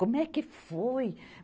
Como é que foi?